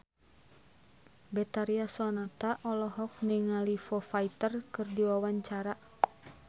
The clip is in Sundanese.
Betharia Sonata olohok ningali Foo Fighter keur diwawancara